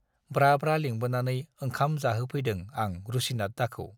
ब्रा-ब्रा लिंबोनानै ओंखाम जाहोफैदों आं रुसिनाथदाखौ।